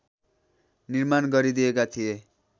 निर्माण गरिदिएका थिए